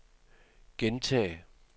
gentag